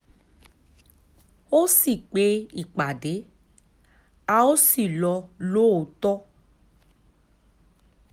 ó sì pe ìpàdé a ó sì lọ lóòótọ́